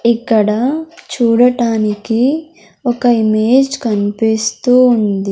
ఇక్కడ చూడటానికి ఒక ఇమేజ్ కనిపిస్తూ ఉంది.